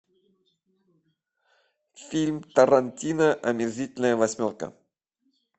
фильм тарантино омерзительная восьмерка